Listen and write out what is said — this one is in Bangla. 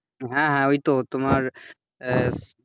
হ্যাঁ হ্যাঁ ওই তো তোমার,